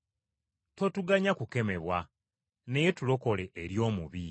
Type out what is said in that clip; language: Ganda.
Totuganya kukemebwa naye tulokole eri omubi.